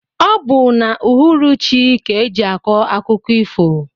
Ọ bu n' uhuruchi ka eji akọ akụkọ ifo.